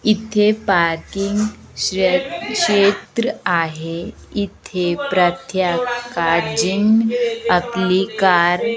इथे पार्किंग क्षे क्षेत्र आहे इथे प्रत्येका जण आपली कार --